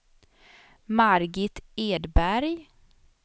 Margit Edberg